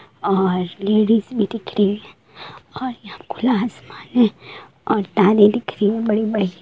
और लेडिज भी दिख रही है और यहाँ खुला आसमान है और तारे दिख रही बड़े-बड़े।